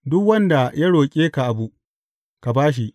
Duk wanda ya roƙe ka abu, ka ba shi.